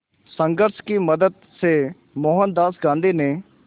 संघर्ष की मदद से मोहनदास गांधी ने